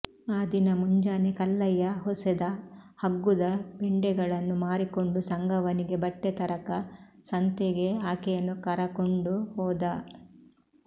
ಆ ದಿನ ಮುಂಜಾನೆ ಕಲ್ಲಯ್ಯ ಹೊಸೆದ ಹಗ್ಗುದ ಪೆಂಡೆಗಳನ್ನು ಮಾರಿಕೊಂಡು ಸಂಗವ್ವನಿಗೆ ಬಟ್ಟೆ ತರಕ ಸಂತೆಗೆ ಆಕೆಯನ್ನು ಕರಕಂಡು ಹೋದ